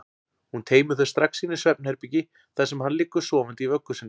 Hún teymir þau strax inn í svefnherbergi þar sem hann liggur sofandi í vöggu sinni.